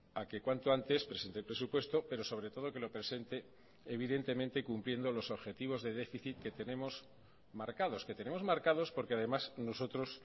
a que cuanto antes presente el presupuesto pero sobre todo que lo presente evidentemente cumpliendo los objetivos de déficit que tenemos marcados que tenemos marcados porque además nosotros